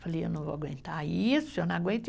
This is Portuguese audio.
Eu falei, eu não vou aguentar isso, eu não aguento.